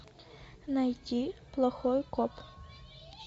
найти плохой коп